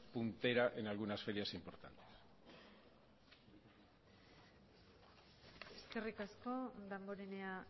un en algunas ferias importantes eskerrik asko damborenea